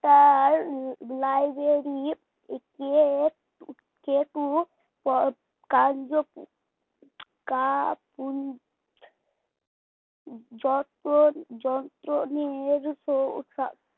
তার library কে